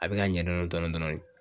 A bɛ ka ɲɛ dɔɔni dɔɔni dɔɔni.